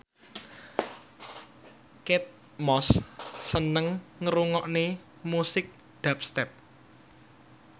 Kate Moss seneng ngrungokne musik dubstep